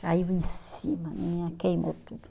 Caiu em cima, minha, queimou tudo.